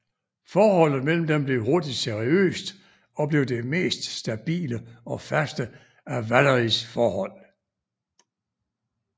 Forholdet mellem dem blev hurtigt seriøst og blev det mest stabile og faste af Valeries forhold